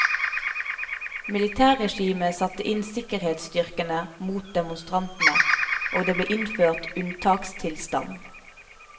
Militærregimet satte inn sikkerhetsstyrkene mot demonstrantene, og det ble innført unntakstilstand.